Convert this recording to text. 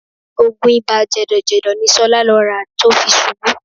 Oògùn ibà jẹ̀dọ̀jẹ̀dọ̀ ni Ṣọlá lọ rà tó fi ṣubú